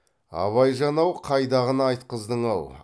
абайжан ау қайдағыны айтқыздың ау